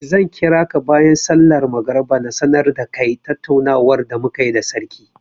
Zan kira ka bayan sallar magriba na sanar da kai tattaunawar da mu ka yi da sarki.